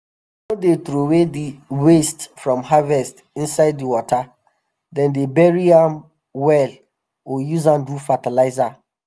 dem no dey troway di waste from harvest inside di wata - dem dey bury am well or use am do fertilizer.